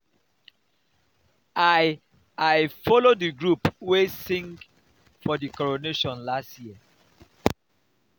i i folo di group wey sing for di coronation last year.